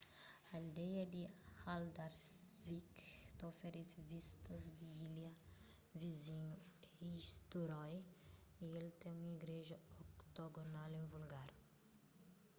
aldeia di haldarsvík ta oferese vistas di ilha vizinhu eysturoy y el ten un igreja octogonal invulgar